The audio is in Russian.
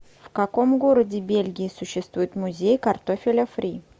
в каком городе бельгии существует музей картофеля фри